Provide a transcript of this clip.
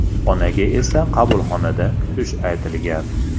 Onaga esa qabulxonada kutish aytilgan.